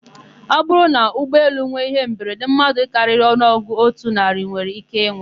Ọbụrụ na ụgbọelu nwe íhé mberede, mmadụ karịrị ọnụọgụ otu narị nwere íké ịnwụ.